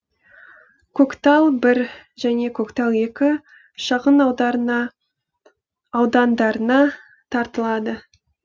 көктал бір және көктал екі шағын аудандарына тартылады